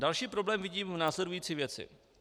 Další problém vidím v následující věci.